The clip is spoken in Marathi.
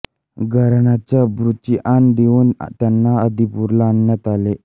घराण्याच्या अब्रूची आण देऊन त्यांना आदिपूरला आणण्यात आले